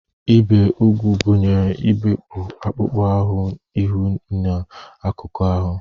Ibi úgwù gụnyere igbupụ akpụkpọ ihu ihu nke akụkụ ahụ